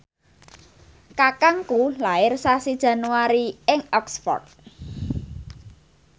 kakangku lair sasi Januari ing Oxford